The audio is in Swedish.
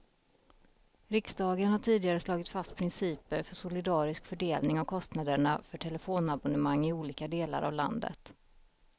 Riksdagen har tidigare slagit fast principer för solidarisk fördelning av kostnaderna för telefonabonnemang i olika delar av landet.